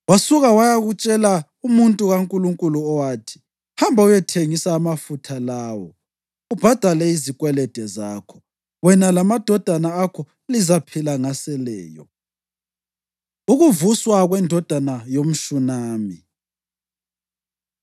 Wasuka wayatshela umuntu kaNkulunkulu, owathi, “Hamba uyethengisa amafutha lawo ubhadale izikwelede zakho. Wena lamadodana akho lizaphila ngaseleyo.” Ukuvuswa Kwendodana YomShunami